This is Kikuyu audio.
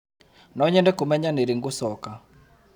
Nonyende kũmenya nĩ rĩ ngũcoka.